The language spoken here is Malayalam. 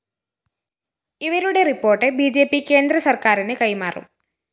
ഇവരുടെ റിപ്പോർട്ട്‌ ബി ജെ പി കേന്ദ്രസര്‍ക്കാരിന് കൈമാറും